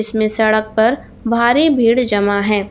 मैं सड़क पर भारी भीड़ जमा है।